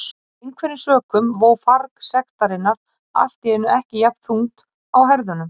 Af einhverjum sökum vó farg sektarinnar allt í einu ekki jafn þungt á herðunum.